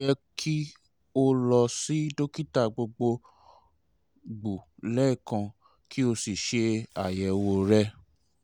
o yẹ ki o lọ si dokita gbogbogbo lẹẹkan ki o si ṣe ayẹwo rẹ